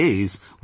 Yes, it is